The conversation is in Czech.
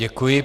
Děkuji.